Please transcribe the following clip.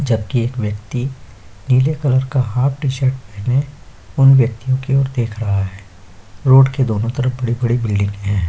जबकि एक वेक्ति नील कलर का हाफ टी शर्ट पहने उन व्यक्तियों की ओर देख रहा है रोड के दोनों तरफ बड़ी-बड़ी ब्लीडिंग है--